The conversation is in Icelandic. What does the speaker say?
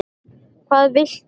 Hvað viltu mér?